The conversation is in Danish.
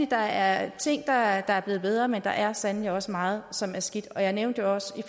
der er ting der er blevet bedre men der er sandelig også meget som er skidt jeg nævnte jo også